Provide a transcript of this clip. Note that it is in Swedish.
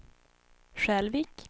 Skälvik